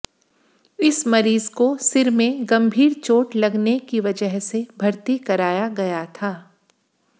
इस मरीज को सिर में गंभीर चोट लगने की वजह से भर्ती कराया गया था